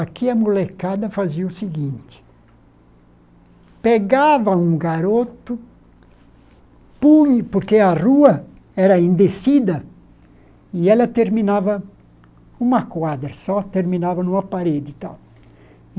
Aqui a molecada fazia o seguinte, pegava um garoto, punha, porque a rua era em decida, e ela terminava numa quadra, só terminava numa parede e tal.